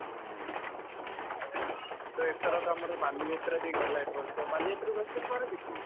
ଉଁ, ତ ଏଥରକ ଆମର ବାଲିଯାତ୍ରା ବି ଗଲା ଏବର୍ଷ, ବାଲିଯାତ୍ରାକୁ ଆସିଥିଲୁ ପାରାଦ୍ୱୀପକୁ?